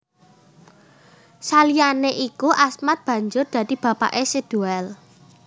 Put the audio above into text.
Saliyané iku Asmad banjur dadi bapaké Si Doel